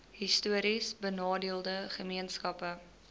histories benadeelde gemeenskappe